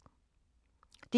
DR2